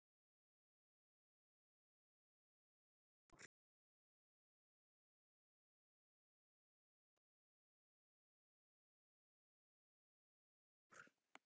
Hélt að þú ætlaðir að vera heilt ár.